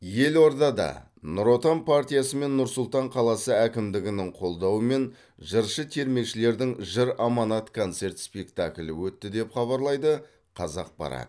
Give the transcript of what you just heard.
елордада нұр отан партиясы мен нұр сұлтан қаласы әкімдігінің қолдауымен жыршы термешілердің жыр аманат концерт спектаклі өтті деп хабарлайды қазақпарат